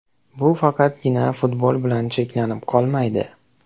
Bu faqatgina futbol bilan cheklanib qolmaydi.